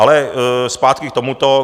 Ale zpátky k tomuto.